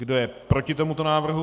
Kdo je proti tomuto návrhu?